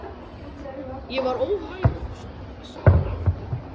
Ég var óhæfur starfskraftur.